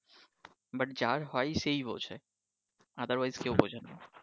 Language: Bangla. but যার হয় সেই বুঝে, otherwise কেঊ বুঝেনা